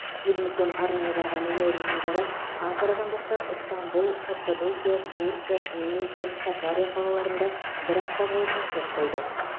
елімізден арнайы барған өнер ұжымдары анкарадан бастап ыстанбұл каппадокия бурса нийде сакария қалаларында бір апта бойы концерт қойды